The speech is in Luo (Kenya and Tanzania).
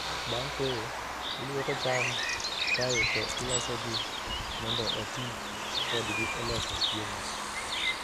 Bang' keyo, ilwoko cham kae to ilosogi mondo oti kodgi e loso chiemo.